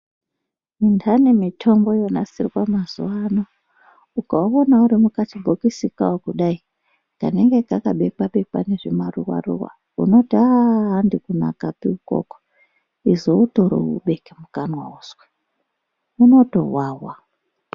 Intani mitombo yonasirwa mazuwano ukaona uri makachibhokisi kawo kudai kanenge kakabekwa bekwa nezvimaruwa unoti haa handi kunakapi ikoko izoutore ubeke mukanwa uzwe unotowawa.